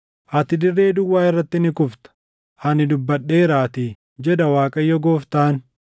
Ati dirree duwwaa irratti ni kufta; ani dubbadheeraatii, jedha Waaqayyo Gooftaan.